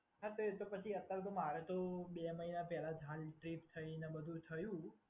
હા તો એ પછી તો મારે તો બે મહિના પહેલા જ ટ્રીપ કરીને બધુ થયું.